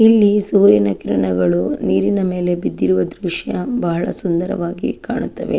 ಇಲ್ಲಿ ಸೂರ್ಯನ ಕಿರಣಗಳು ನೀರಿನ ಮೇಲೆ ಬಿದ್ದಿರುವುದು ದೃಶ್ಯ ಬಹಳ ಸುಂದರವಾಗಿ ಕಾಣುತ್ತವೆ .